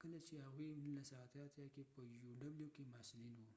کله چې هغوي 1988 کې په یو ډبلیو uwکې محصلین و